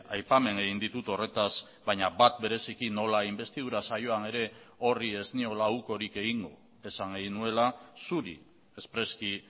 aipamen egin ditut horretaz baina bat bereziki nola inbestidura saioan ere horri ez niola ukorik egingo esan egin nuela zuri espreski